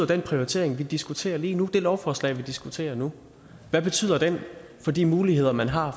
den prioritering vi diskuterer lige nu det lovforslag vi diskuterer nu hvad betyder det for de muligheder man har